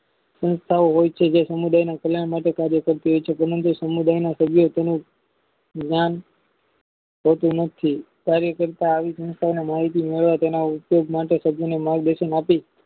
સંસ્થાઓ હોય છે જે સમુદાયમાં કલ્યાણ માટે કાર્ય કરતી હોય છે સમુદાયના સભ્યો તેને જ્ઞાન તો તેમજથી કાર્ય કરતા તેના ઉદ્યોગ માટે સભ્યને માર્ગ દર્શન આપી